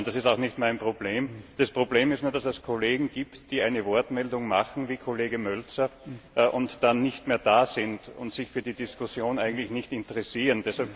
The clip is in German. Das ist auch nicht mein Problem. Das Problem ist nur, dass es Kollegen gibt, die sich zu Wort melden, wie der Kollege Mölzer, und dann nicht mehr da sind und sich für die Diskussion eigentlich nicht interessieren.